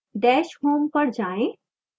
dash home पर जाएं